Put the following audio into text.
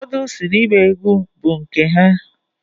Ụfodụ si na igba egwu bu nke ha.